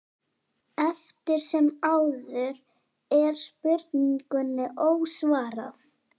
Eftir sem áður er spurningunni ósvarað.